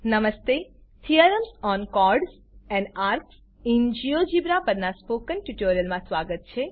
નમસ્તે theorems on chords and arcs in GeoGebra પરનાં spoken ટ્યુટોરીયલમાં સ્વાગત છે